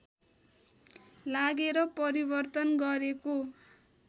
लागेर परिवर्तन गरेको